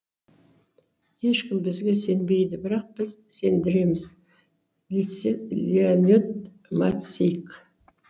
ешкім бізге сенбейді бірақ біз сендіреміз леонид мацих